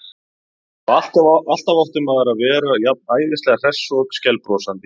Og alltaf átti maður að vera jafn æðislega hress og skælbrosandi.